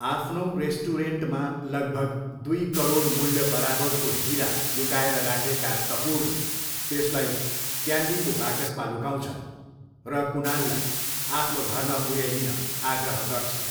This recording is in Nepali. आफ्नो रेस्टुरेन्टमा लगभग दुई करोड मूल्य बराबरको हिरा लुकाएर राखेका कपुरले त्यसलाई क्यान्डीको बाकसमा लुकाउँछन् र कुनाललाई आफ्नो घरमा पुऱ्याइदिन आग्रह गर्छन्।